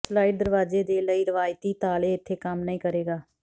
slide ਦਰਵਾਜ਼ੇ ਦੇ ਲਈ ਰਵਾਇਤੀ ਤਾਲੇ ਇੱਥੇ ਕੰਮ ਨਹੀ ਕਰੇਗਾ